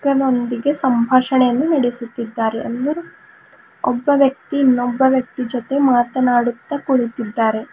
ನೊಂದಿಗೆ ಸಂಭಾಷಣೆಯನ್ನು ನಡೆಸುತ್ತಿದ್ದಾರೆ ಅಂದುರ್ ಒಬ್ಬ ವ್ಯಕ್ತಿ ಇನ್ನೊಬ್ಬ ವ್ಯಕ್ತಿಯ ಜೊತೆ ಮಾತನಾಡುತ ಕುಳಿತಿದ್ದಾರೆ.